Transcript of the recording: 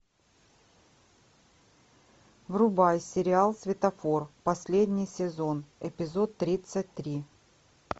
врубай сериал светофор последний сезон эпизод тридцать три